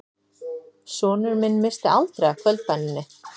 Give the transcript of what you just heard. Sonur minn missti aldrei af kvöldbæninni